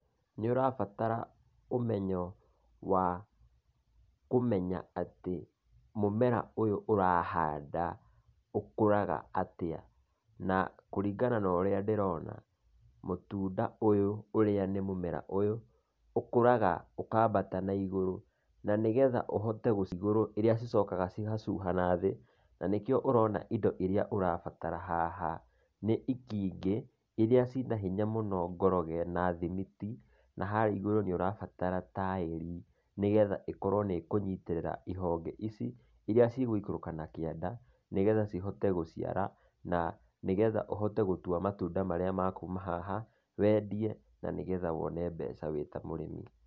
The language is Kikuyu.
Nĩ ũrabatara ũmenyo wa kũmenya atĩ mũmera ũyũ ũrahanda ũkuraga atĩa. Na kũringana na ũrĩa ndĩrona, mũtunda ũyũ ũrĩa nĩ mũmera ũyũ, ũkũraga ũkambata na igũrũ, na nĩgetha ũhote gũcigurũ, ĩrĩa cicokaga cigacuha nathĩ, na nĩkĩo ũrona indo iria ũrabatara haha, nĩ itingĩ, iria cina hinya mũno ngoroge na thimiti, na harĩa igũrũ nĩ ũranatara taĩri, nĩgetha ĩkorwo nĩ ĩkũnyitĩrĩra ihonge ici, iria cigũikũrũka na kĩanda, nĩgetha cihote gũciara na nĩgetha ũhote gũtua matunda maria makuma haha, wendie na nĩgetha wone mbeca wĩ ta mũrĩmi.